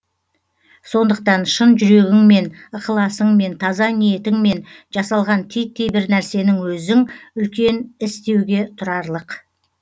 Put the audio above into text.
сондықтан шын жүрегіңмен ықыласыңмен таза ниетіңмен жасалған титтей бір нарсенің өзің үлкен іс деуге тұрарлық